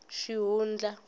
xihundla